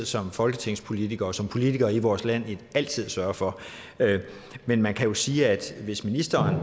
som folketingspolitikere og som politikere i vores land altid sørge for men man kan jo sige at hvis ministeren